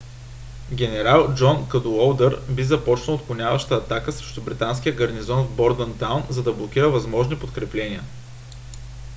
генерал джон кадуолдър би започнал отклоняваща атака срещу британския гарнизон в бордънтаун за да блокира възможни подкрепления